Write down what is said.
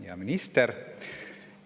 Hea minister!